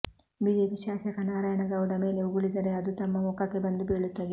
BJP ಶಾಸಕ ನಾರಾಯಣಗೌಡ ಮೇಲೆ ಉಗಳಿದರೆ ಅದು ತಮ್ಮ ಮುಖಕ್ಕೆ ಬಂದು ಬೀಳುತ್ತದೆ